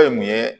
Fɛn ye mun ye